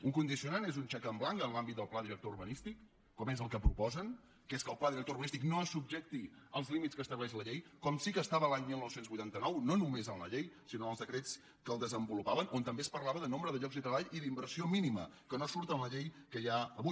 un condicionant és un xec en blanc en l’àmbit del pla director urbanístic com és el que proposen que és que el pla director urba nístic no es subjecti als límits que estableix la llei com sí que ho estava l’any dinou vuitanta nou no només en la llei sinó en els decrets que el desenvolupaven on també es parlava de nombre de llocs de treball i d’inversió mínima que no surt en la llei que hi ha avui